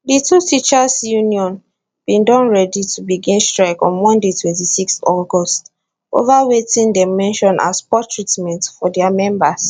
di two teachers union bin don ready to begin strike on monday 26 august ova wetin dem mention as poor treatment for dia members